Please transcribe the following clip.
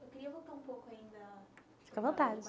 Eu queria voltar um pouco ainda. Fica à vontade.